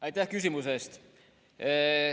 Aitäh küsimuse eest!